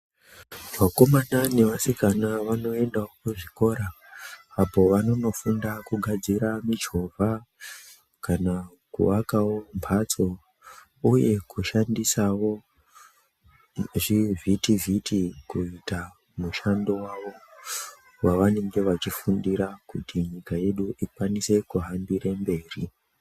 Vakomana nevasikana vanoendawo kuzvikora apo vanonofunda kugadzira michovha kana kuakawo mphatso uye kushandisawo zvivhitivhiti kuita mushando wavo wavanenge vachifundira kuti nyika yedu ikwanise kuhambire mberi.